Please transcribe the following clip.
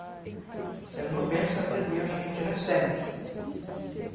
Isso é uma benção de Deus que a gente recebe.